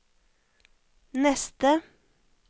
neste